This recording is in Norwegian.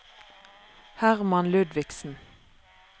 Hermann Ludvigsen